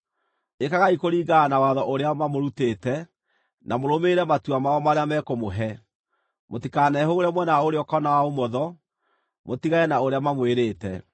Ĩkagai kũringana na watho ũrĩa mamũrutĩte, na mũrũmĩrĩre matua mao marĩa mekũmũhe. Mũtikanehũgũre mwena wa ũrĩo kana wa ũmotho, mũtigane na ũrĩa mamwĩrĩte.